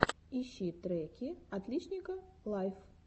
ищи треки отличника лайф